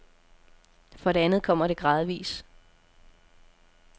For det andet kommer det gradvis.